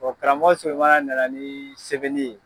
karamɔgɔ Solamana nana ni sɛbɛnni ye.